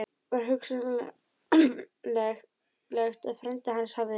Var hugsanlegt að frændi hans hefði